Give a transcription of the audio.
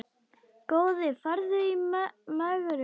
Góði farðu í megrun.